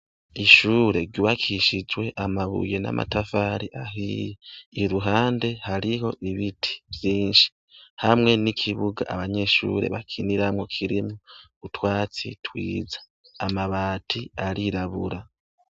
ishure gubakishijwe amabuye n'amatafari ahiye iruhande hariho ibiti byinshi hamwe n'ikibuga abanyeshure bakiniramwo kirimu twatsi twiza amabati arirabura